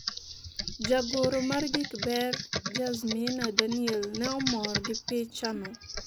Jagoro mar gik ber Jazmina Daniel, ne omor gi picha no,